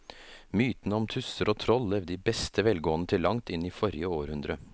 Mytene om tusser og troll levde i beste velgående til langt inn i forrige århundre.